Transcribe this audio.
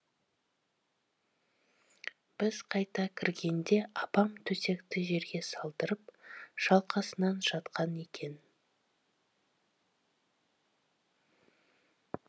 біз қайта кіргенде апам төсекті жерге салдырып шалқасынан жатқан екен